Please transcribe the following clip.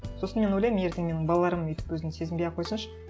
сосын мен ойлаймын ертең менің балаларым өйтіп өзін сезінбей ақ қойсыншы